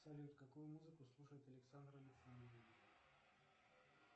салют какую музыку слушает александр александрович